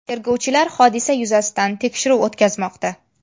Tergovchilar hodisa yuzasidan tekshiruv o‘tkazmoqda.